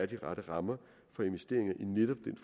de rette rammer for investeringer i netop